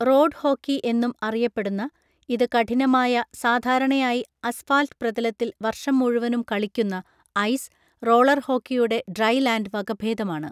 Road hockey എന്നും അറിയപ്പെടുന്ന ഇത് കഠിനമായ, സാധാരണയായി അസ്ഫാൽറ്റ് പ്രതലത്തിൽ വർഷം മുഴുവനും കളിക്കുന്ന ഐസ്, റോളർ ഹോക്കിയുടെ ഡ്രൈ ലാൻഡ് വകഭേദമാണ്.